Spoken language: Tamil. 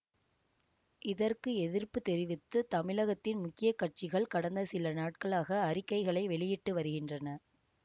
இதற்கு எதிர்ப்பு தெரிவித்து தமிழகத்தின் முக்கிய கட்சிகள் கடந்த சில நாட்களாக அறிக்கைகளை வெளியிட்டு வருகின்றன